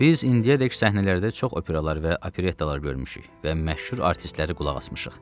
Biz indiyədək səhnələrdə çox operalar və operettalar görmüşük və məşhur artistləri qulaq asmışıq.